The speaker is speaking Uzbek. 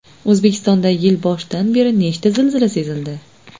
O‘zbekistonda yil boshidan beri nechta zilzila sezildi?.